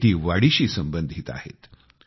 शेती वाडीशी संबंधित आहेत